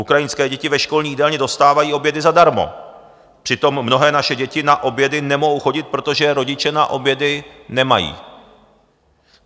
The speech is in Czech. Ukrajinské děti ve školní jídelně dostávají obědy zadarmo, přitom mnohé naše děti na obědy nemohou chodit, protože rodiče na obědy nemají.